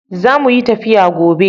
Zamuyi tafiya gobe